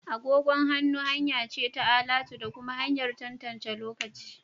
Agogon hannu hanya ce ta alatu da kuma hanyar tantance lokaci